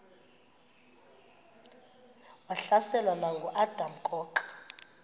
wahlaselwa nanguadam kok